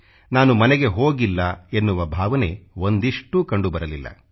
ನಾನು ಮನೆಗೆ ಹೋಗಿಲ್ಲ ಎನ್ನುವ ಭಾವನೆ ಒಂದಿಷ್ಟೂ ಕಂಡುಬರಲಿಲ್ಲ